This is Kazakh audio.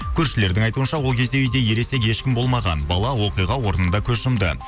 көршілердің айтуынша ол кезде үйде ересек ешкім болмаған бала оқиға орнында көз жұмды